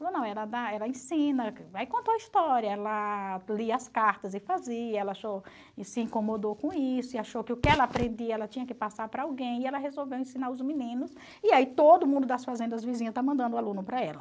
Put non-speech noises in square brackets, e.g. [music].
Falou, não, ela dá ela ensina, aí contou a história, ela lia as cartas e fazia, ela [unintelligible] e se incomodou com isso, e achou que o que ela aprendia ela tinha que passar para alguém, e ela resolveu ensinar os meninos, e aí todo mundo das fazendas vizinhas está mandando aluno para ela.